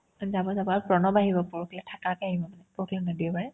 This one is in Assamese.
যাব যাব আৰু প্ৰণৱ আহিব পৰসিলৈ থাকাকে আহিব মানে পৰসি নহয় দেওবাৰে